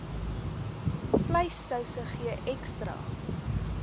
vleissouse gee ekstra